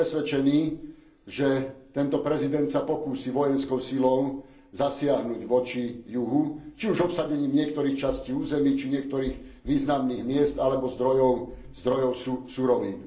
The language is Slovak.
Som presvedčený, že tento prezident sa pokúsi vojenskou silou zasiahnuť voči juhu, či už obsadením niektorých častí území či niektorých významných miest alebo zdrojov surovín.